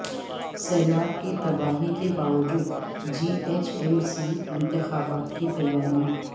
سیلاب کی تباہی کے باوجود جی ایچ ایم سی انتخابات کی تیاریاں